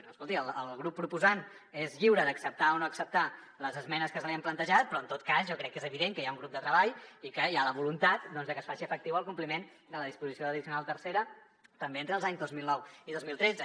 escolti el grup proposant és lliure d’acceptar o no acceptar les esmenes que se li han plantejat però en tot cas jo crec que és evident que hi ha un grup de treball i que hi ha la voluntat doncs de que es faci efectiu el compliment de la disposició addicional tercera també entre els anys dos mil nou i dos mil tretze